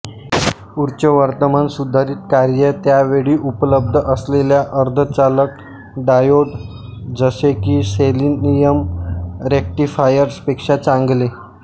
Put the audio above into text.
उच्चवर्तमान सुधारित कार्ये त्या वेळी उपलब्ध असलेल्या अर्धचालक डायोड जसे की सेलेनियम रेक्टिफायर्स पेक्षा चांगले